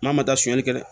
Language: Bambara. Maa ma taa sonyani kɛ